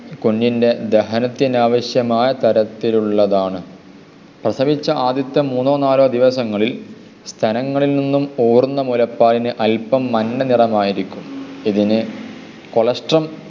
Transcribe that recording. കുഞ്ഞിൻ്റെ ദഹനത്തിനാവശ്യമായ തരത്തിലുള്ളതാണ്. പ്രസവിച്ച ആദ്യത്തെ മൂന്നോ നാലോ ദിവസങ്ങളിൽ സ്തനങ്ങളിൽ നിന്നും പോരുന്ന മുലപ്പാലിന് അല്പം മഞ്ഞ നിറമായിരിക്കും. ഇതിനു കൊളോസ്റ്ററും